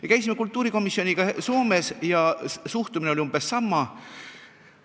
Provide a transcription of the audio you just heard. Me käisime kultuurikomisjoniga Soomes ja suhtumine oli umbes sama.